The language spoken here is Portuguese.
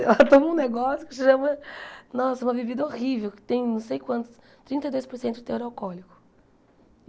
Ela toma um negócio que chama... Nossa, uma bebida horrível, que tem não sei quantos... trinta e dois por cento de teor alcoólico.